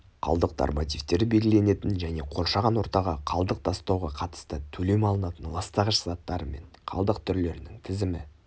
қалдық нормативтері белгіленетін және қоршаған ортаға қалдық тастауға қатысты төлем алынатын ластағыш заттары мен қалдық түрлерінің тізімі